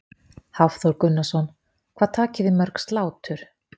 Hafþór Gunnarsson: Hvað takið þið mörg slátur?